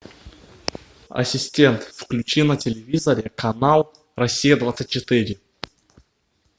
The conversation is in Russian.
ассистент включи на телевизоре канал россия двадцать четыре